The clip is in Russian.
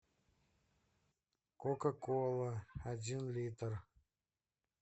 кока кола один литр